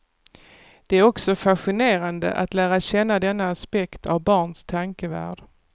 Det är också fascinerande att lära känna denna aspekt av barns tankevärld.